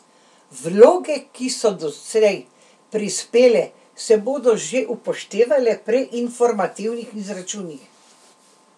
Vloge, ki so doslej prispele, se bodo že upoštevale pri informativnih izračunih.